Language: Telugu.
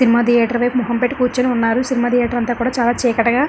సినిమా థియేటర్ వైపు మొఖం పెట్టి కూర్చున్నారు సినిమా థియేటర్ అంతా కూడా చాలా చీకటిగా --